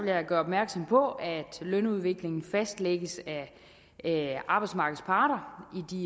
jeg gøre opmærksom på at lønudviklingen fastlægges af arbejdsmarkedets parter